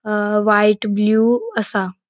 अ white blue असा.